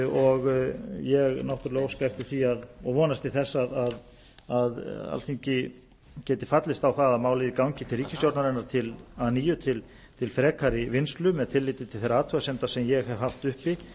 og ég náttúrlega óska eftir því og vonast til þess að alþingi geti fallist á það að málið gangi til ríkisstjórnarinnar að nýju til frekari vinnslu með tilliti til þeirra athugasemda sem ég hef haft uppi